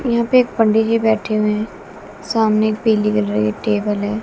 यहां पे एक पंडि जी बैठे हुए हैं सामने एक रही टेबल है--